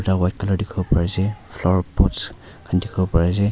cha white colour tekibo pari ase flowerpots kan tekibo pare ase.